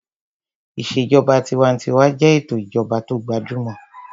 Ìṣèjọba tinwatinwa jẹ́ ètò ìjọba tó gbajúmọ̀